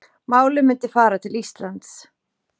Málið myndi fara til Íslands